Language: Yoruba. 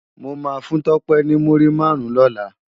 Mó má fún Tope ni múri márùn lòlá